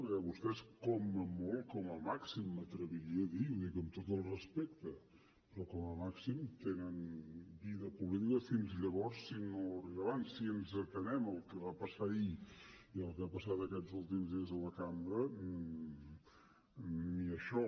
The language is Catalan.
perquè vostès com a molt com a màxim m’atreviria a dir i ho dic amb tot el respecte però com a màxim tenen vida política fins llavors si no arriba abans si ens atenem al que va passar ahir i al que ha passat aquests últims dies a la cambra ni això